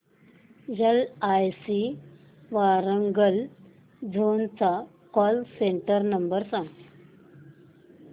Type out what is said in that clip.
LIC Warangal zone चा call centre number सांग